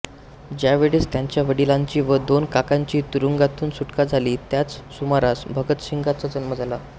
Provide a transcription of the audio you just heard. ज्यावेळेस त्याच्या वडिलांची व दोन काकांची तुरुंगातून सुटका झाली त्याच सुमारास भगतसिंगांचा जन्म झाला